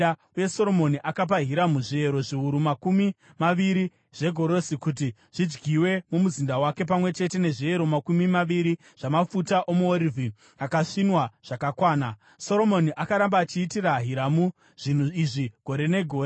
uye Soromoni akapa Hiramu zviyero zviuru makumi maviri zvegorosi kuti zvidyiwe mumuzinda wake, pamwe chete nezviyero makumi maviri zvamafuta omuorivhi akasvinwa zvakakwana. Soromoni akaramba achiitira Hiramu zvinhu izvi gore negore.